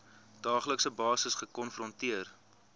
daaglikse basis gekonfronteer